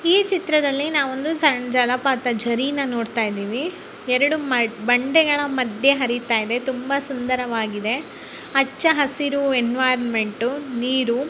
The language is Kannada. ಈ ಚಿತ್ರದಲ್ಲಿ ನವೊಂದು ಸಣ್ಣ ಜಲಪಾತ ಜರಿನ ನೋಡುತಾಯಿದಿವಿ ಎರೆಡು ಬಂಡೆಗಳ ಮದ್ಯ ಹರಿತಾಯಿದೆ ತುಂಬಾ ಸುಂದರವಾಗಿದೆ ಹಚ್ಚು ಹಸಿರು ಎನ್ವಿರಾನ್ಮೆಂಟ್ ನೀರು.